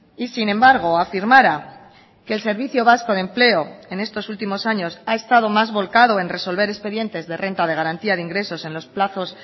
y sin embargo afirmara que el servicio vasco de empleo en estos últimos años ha estado más volcado en resolver expedientes de renta de garantía de ingresos en los plazos